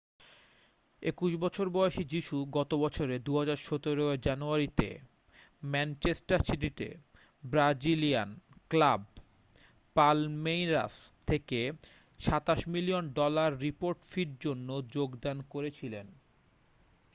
21 বছর বয়সী যীশু গত বছরে 2017 এর জানুয়ারিতে ম্যানচেস্টার সিটিতে ব্রাজিলিয়ান ক্লাব পালমেইরাস থেকে £ 27 মিলিয়ন ডলার রিপোর্ট ফির জন্য যোগদান করেছিলেন।